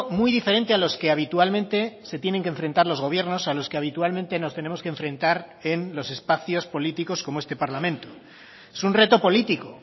muy diferente a los que habitualmente se tienen que enfrentar los gobiernos a los que habitualmente nos tenemos que enfrentar en los espacios políticos como este parlamento es un reto político